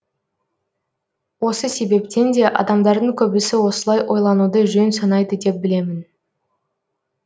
осы себептен де адамдардың көбісі осылай ойлануды жөн санайды деп білемін